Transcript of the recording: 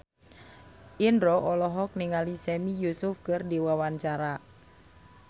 Indro olohok ningali Sami Yusuf keur diwawancara